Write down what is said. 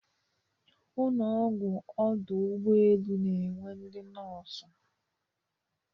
Ụnọ ọgwụ ọdụ ụgbọ elu na enwe ndị nọọsụ.